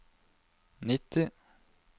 nitti